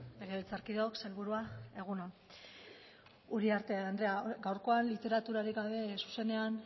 legebiltzarkideok sailburua egun on uriarte andrea gaurkoan literaturatik gabe zuzenean